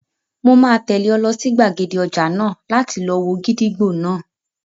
Mo máa tẹ̀lé ọ lọ sí gbàgede ọjà náà láti lọ wo gídígbò náà